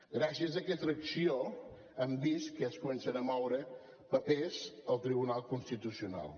gràcies a aquesta acció hem vist que es comencen a moure papers al tribunal constitucional